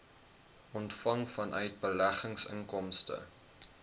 ontvang vanuit beleggingsinkomste